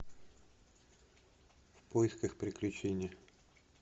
в поисках приключения